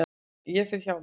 Ég fer hjá mér.